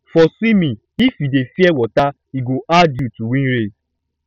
for swimming if you dey fear water e go hard you to win race